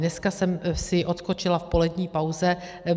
Dneska jsem si odskočila v polední pauze.